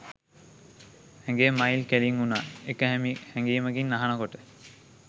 ඇඟේ මයිල් කෙලින් වුනා ඒක හැඟීමකින් අහන කොට.